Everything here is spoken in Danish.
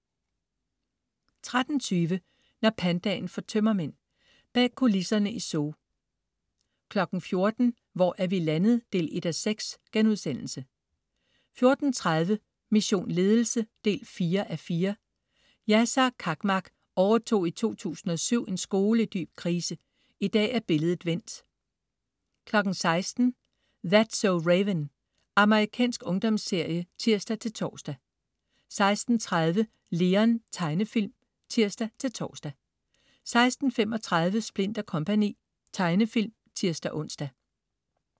13.20 Når pandaen får tømmermænd. Bag kulisserne i zoo 14.00 Hvor er vi landet 1:6?* 14.30 Mission Ledelse 4:4. Yasar Cakmak overtog i 2007 en skole i dyb krise. I dag er billedet vendt 16.00 That's so Raven. Amerikansk ungdomsserie (tirs-tors) 16.30 Leon. Tegnefilm (tirs-tors) 16.35 Splint & Co. Tegnefilm (tirs-ons)